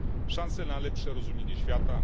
Szansę na lepsze rozumienie świata.